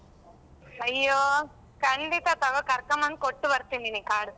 ಅಯ್ಯೋ, ಕಂಡಿತ ತಗೋ ಕರಕೋಬಂದ್ ಕೊಟ್ಟು ಬರ್ತಿನ್ ನಿನಿಗ್ card .